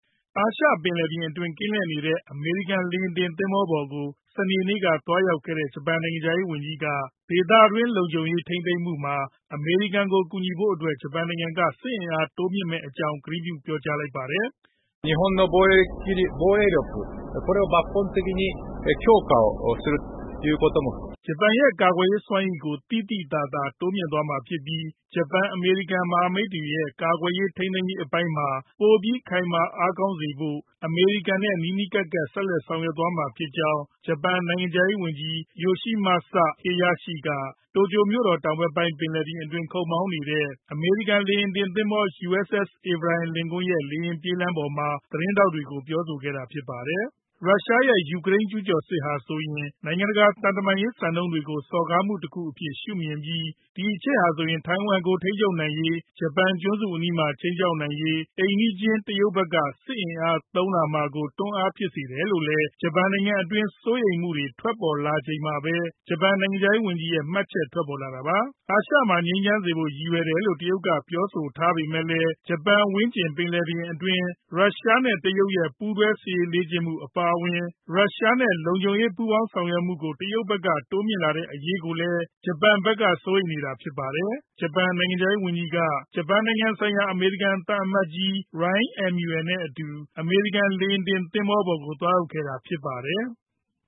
အာရှပင်လယ်ပြင်အတွင်း ကင်းလှည့်နေတဲ့ အမေရိကန် လေယာဉ်တင်သင်္ဘောပေါ်ကို စနေနေ့က သွားရောက်ခဲ့တဲ့ ဂျပန်နိုင်ငံခြားရေးဝန်ကြီးက ဒေသတွင်း လုံခြုံရေးကို ထိန်းသိမ်းမှုမှာ အမေရိကန်ကို ကူညီဖို့အတွက် ဂျပန်နိုင်ငံက စစ်အင်အား တိုးမြှင့်မယ့်အကြောင်း ကတိပြု ပြောကြားလိုက်ပါတယ်။ ဂျပန်ရဲ့ ကာကွယ်ရေးစွမ်းရည်ကို သိသိသာသာ တိုးမြှင့်သွားမှာဖြစ်ပြီး ဂျပန်-အမေရိကန် မဟာမိတ်တွေရဲ့ ကာကွယ်ထိန်းသိမ်းရေးပိုင်းမှာ ပိုပြီး ခိုင်မာအားကောင်းစေဖို့ အမေရိကန်နဲ့ နီးနီးကပ်ကပ် ဆက်လက် ဆောင်ရွက်သွားမှာ ဖြစ်ကြောင်း ဂျပန်နိုင်ငံခြားရေးဝန်ကြီး Yoshimasa Hayashi က တိုကျိုမြို့တော် တောင်ဘက်ပိုင်း ပင်လယ်ပြင်အတွင်း ခုတ်မောင်းနေတဲ့ အမေရိကန် လေယာဉ်တင်သင်္ဘော USS Abraham Lincoln ရဲ့ လေယာဉ်ပြေးလမ်းပေါ်မှာ သတင်းထောက်တွေကို ပြောဆိုခဲ့တာ ဖြစ်ပါတယ်။ ရုရှားရဲ့ ယူကရိန်းကျူးကျော်စစ်ဟာ နိုင်ငံတကာ သံတမန်ရေး စံနှုန်းတွေကို စော်ကားမှုတခုအဖြစ် ရှုမြင်ပြီး ဒီအချက်ဟာ ထိုင်ဝမ်ကို ထိန်းချုပ်နိုင်ရေး၊ ဂျပန်ကျွန်းစုအနီးမှာ ခြိမ်းခြောက်နိုင်ရေး အိမ်နီးချင်း တရုတ်ဘက်က စစ်အင်အားသုံးလာဖို့ တွန်းအားဖြစ်စေနိုင်တယ်လို့ ဂျပန်နိုင်ငံတွင်း စိုးရိမ်မှုတွေ ထွက်ပေါ်လာချိန်မှာပဲ ဂျပန်နိုင်ငံခြားရေးဝန်ကြီးရဲ့ မှတ်ချက် ထွက်ပေါ်လာတာပါ။ အာရှမှာ ငြိမ်းချမ်းစေဖို့ ရည်ရွယ်တယ်လို့ တရုတ်က ပြောဆိုထားပေမဲ့လည်း ဂျပန်ဝန်းကျင် ပင်လယ်ပြင်အတွင်း ရုရှားနဲ့ တရုတ်ရဲ့ ပူးတွဲ စစ်ရေးလေ့ကျင့်မှု အပါအဝင် ရုရှားနဲ့ လုံခြုံရေး ပူးပေါင်းဆောင်ရွက်မှုကို တရုတ်ဘက်က တိုးမြှင့်လာတဲ့ အရေးကိုလည်း ဂျပန်ဘက်က စိုးရိမ်နေတာ ဖြစ်ပါတယ်။ ဂျပန်နိုင်ငံခြားရေးဝန်ကြီးက ဂျပန်ဆိုင်ရာ အမေရိကန် သံအမတ်ကြီး Rahm Emanuel နဲ့အတူ အမေရိကန် လေယာဉ်တင်သင်္ဘောပေါ်ကို သွားရောက်ခဲ့တာ ဖြစ်ပါတယ်။